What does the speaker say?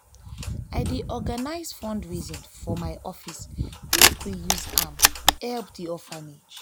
i dey organise fundraising for my office make we use am help di orphanage.